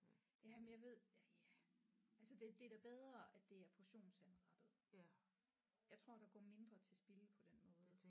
Jamen jeg ved ja ja altså det det er da bedre at det er portionsanrettet jeg tror der går mindre til spilde på den måde